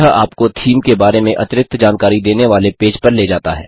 यह आपको थीम के बारे में अतिरिक्त जानकारी देनेवाले पेज पर ले जाता है